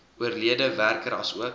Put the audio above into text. oorlede werker asook